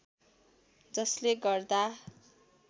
जसले गर्दा